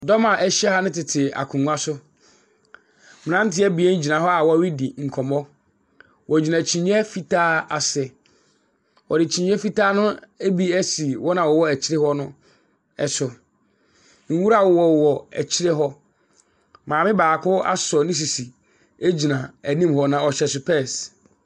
Dɔm a ahyia no tete akongua so. Mmerate abien gyina hɔ wɔredi nkɔmmɔ. Wɔgyina kyinie fitaa ase. Wɔre kyinie fitaa ne bi si wɔn a wɔwɔ akyire hɔ no so. Nwura wowɔ akyire hɔ. maame baako asɔ ne sisi gyina anim hɔ, na ɔhyɛ sepɛɛse.